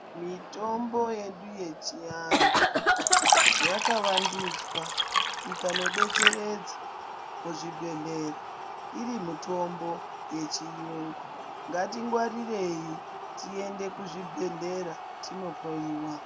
Mitombo yedu yechiantu yakavandudzwa ikandodetseredza muzvibhedhleya iri mitombo yechiyungu ngatingwarirei tiende kuzvibhedhlera tinohloyiwa.